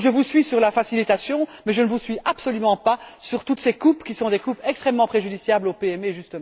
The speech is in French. Donc je vous suis sur la facilitation, mais je ne vous suis absolument pas sur toutes ces coupes qui sont extrêmement préjudiciables aux PME précisément.